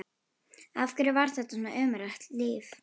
Af hverju var þetta svona ömurlegt líf?